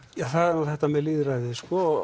það er nú þetta með lýðræðið sko